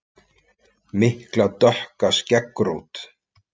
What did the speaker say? Mikla dökka skeggrót.